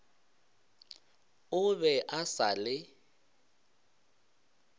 o be a sa le